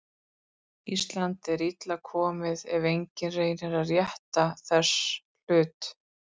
Ísland er illa komið ef enginn reynir að rétta þess hlut.